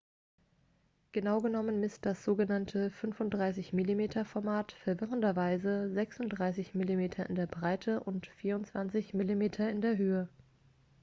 genau genommen misst das sogenannte 35-mm-format verwirrenderweise 36 mm in der breite und 24 mm in der höhe